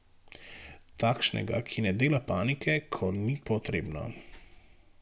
Takšnega, ki ne dela panike, ko ni potrebno.